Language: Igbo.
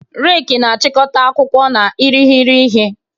Reki na-achịkọta akwụkwọ na irighiri ihe.